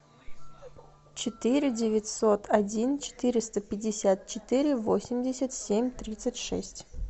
четыре девятьсот один четыреста пятьдесят четыре восемьдесят семь тридцать шесть